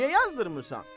Niyə yazdırtmırsan?